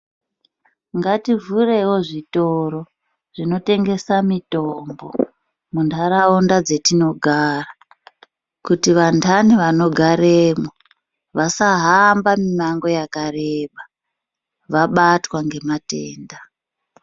Nhativhurewo zvitoro zvinotengesa mitombo muntaraunda dzatinogara kuti vandani vanogaremwo vasa hamba mumango wakareba vabatwa ngematenda.